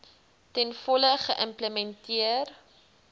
ten volle geïmplementeer